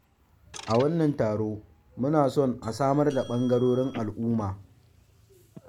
A wannan taro muna son a samar da ɓangarorin al'ummma.